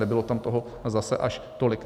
Nebylo tam toho zase až tolik.